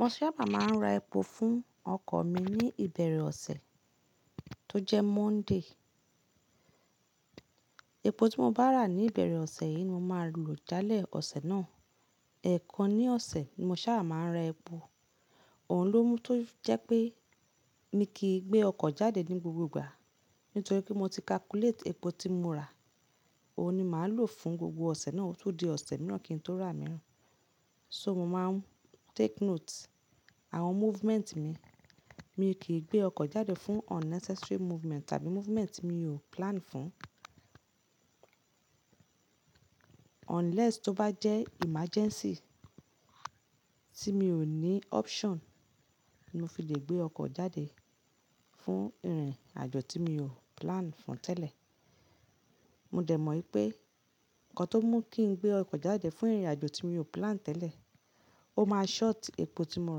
Mo sábà máa ń ra epo fún ọkọ̀ mi ní ìbẹ̀rẹ̀ ọ̀sẹ̀ tó jẹ́ Monday. Epo tí mo bá rà ní ìbẹ̀rẹ̀ ọ̀sẹ̀ yìí ni mo máa lò jále ọ̀sẹ̀ náà. Ẹ̀kan ní ọ̀sẹ̀ ni mo sáà máa ń ra epo. Òhun ló mú tó jẹ́ pé mi kì í gbé ọkọ̀ jáde ní gbogbo ìgbà. Nítorí pé mo ti calculate epo tí mo rà, òun ni màá lò fún gbogbo ọ̀sẹ̀ náà, ó tun di ọ̀sẹ̀ mìíràn kí n tó rà mìíràn. So mo máa take note àwọn movement mi. Mi kì í gbé ọkọ̀ jáde fún unnecessary movement tàbí movement ti mi ò plan fún. Unless tó bá jẹ́ emergency tí mi ò ní option mó fi lè gbé ọkọ̀ jáde fún ìrìn-àjò tí mi ò plan fún tẹ́lẹ̀. Mo dẹ̀ mọ̀ wípé nǹkan tó mú kí n gbé ọkọ̀ jáde fún ìrìn-àjò tí mi ò plan tẹ́lẹ̀, ó máa short epo tí mo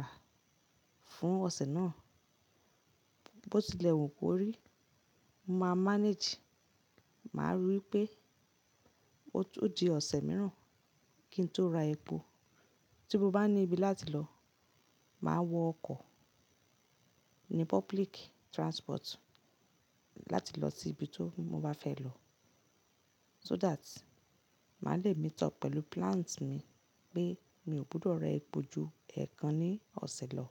rà fún ọ̀sẹ̀ náà. Bo tilẹ̀ wù kó rí, mo máa n manage. Màá rí wípé ó sì di ọ̀sẹ̀ mìíràn kí n tó ra epo. Tí mo bá ní ibi láti lọ, màá wọ ọkọ̀, ni public transport láti lọ sí ibi ti mo bá fẹ́ lọ. So that màá le meet up pẹ̀lú plans mi pé mi ò gbọdọ̀ ra epo ju èèkàn ní ọ̀sẹ̀ lọ.